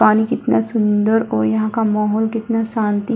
पानी कितना सुंदर और यहाँ का माहौल कितना शांति --